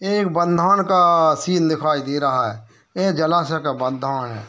यह एक बंधान का सीन दिखाई दे रहा है यह एक जलाशय का बंधान है।